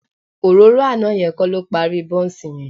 Òróró àná yẹn kọ́ ló parí bọ́ǹsì yẹn